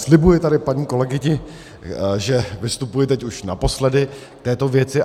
Slibuji tady paní kolegyni, že vystupuji teď už naposled k této věci.